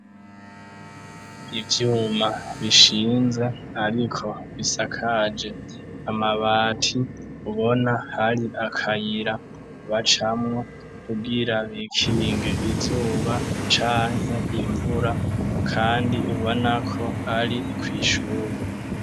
Ivyuma bishinze, ariko bisakaje amabati, ubona hari akayira bacamwo, kugira bikinge izuba, canke imvura, kandi ubona ko, ari kw'ishure.